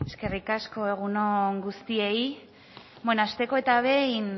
eskerrik asko egun on guztioi bueno hasteko eta behin